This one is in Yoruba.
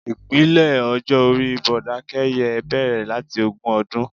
Ipele ọjọ́ orí Bọ́bakẹ́yẹ bẹrẹ̀ láti ogún ọdún.